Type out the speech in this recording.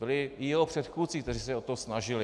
Byli i jeho předchůdci, kteří se o to snažili.